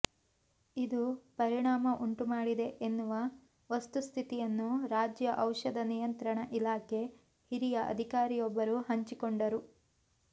ಇದು ಪರಿಣಾಮ ಉಂಟು ಮಾಡಿದೆ ಎನ್ನುವ ವಸ್ತುಸ್ಥಿತಿಯನ್ನು ರಾಜ್ಯ ಔಷಧ ನಿಯಂತ್ರಣ ಇಲಾಖೆ ಹಿರಿಯ ಅಧಿಕಾರಿಯೊಬ್ಬರು ಹಂಚಿಕೊಂಡರು